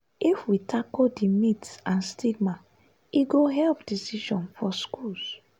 if we tackle di myths and stigma e go help decision for schools.